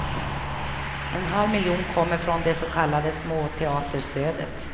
En halv miljon kommer från det så kallade småteaterstödet.